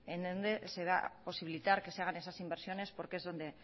en donde se va a posibilitar que se hagan esas inversiones porque es donde